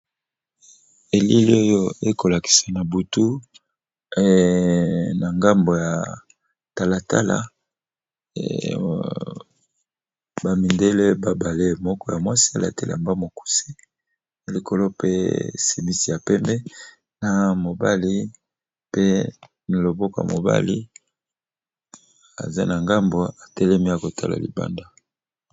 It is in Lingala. Elile oyo ekolakisa na butu na ngambo ya talatala, bamindele babale moko ya mwasi alate lamba mokuse likolo pe simisi ya pembe, na mobali pe na loboka mobali aza na ngambo atelemi ya kotala libanda.